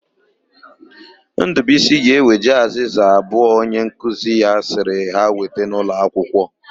Ndụbuisi ga-eweje azịza abụọ onyenkuzi ya sịrị ha weta n'ụlọakwụkwọ.